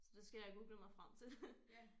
Så det skal jeg have googlet mig frem til